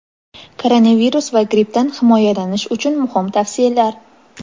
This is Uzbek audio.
Koronavirus va grippdan himoyalanish uchun muhim tavsiyalar.